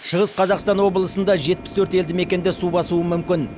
шығыс қазақстан облысында жетпіс төрт елді мекенді су басуы мүмкін